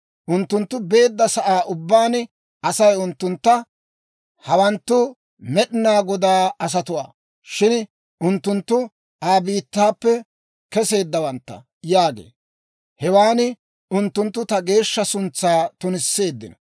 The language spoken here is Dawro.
Unttunttu beedda sa'aa ubbaan Asay unttuntta, ‹Hawanttu Med'inaa Godaa asatuwaa; shin unttunttu Aa biittaappe keseeddawantta› yaagee; hewan unttunttu ta geeshsha suntsaa tunisseeddino.